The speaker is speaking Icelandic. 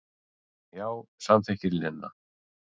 Já, samþykkir Lena.